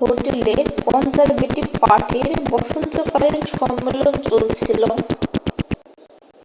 হোটেলে কনজারভেটিভ পার্টির বসন্তকালীন সম্মেলন চলছিল